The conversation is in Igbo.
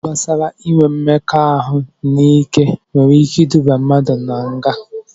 Okwu gbasara inwe mmekọahụ n'ike nwere ike iduba na nga